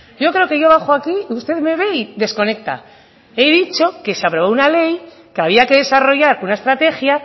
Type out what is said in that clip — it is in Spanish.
yo creo que yo bajo aquí y usted me ve y desconecta he dicho que se aprobó una ley que había que desarrollar una estrategia